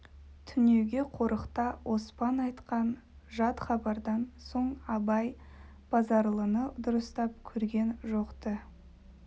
түнеуге қорықта оспан айтқан жат хабардан соң абай базаралыны дұрыстап көрген жоқ-ты